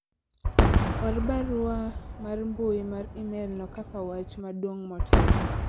or barua mar mbui mar email no kaka wach maduong' motelo